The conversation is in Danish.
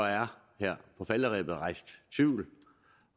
her på falderebet er rejst tvivl